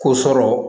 Ko sɔrɔ